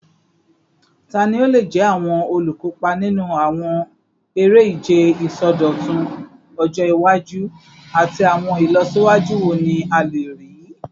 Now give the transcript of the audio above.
Tani o le jẹ awọn olukopa ninu awọn ere-ije isọdọtun ọjọ iwaju, ati awọn ilọsiwaju wo ni a le rii?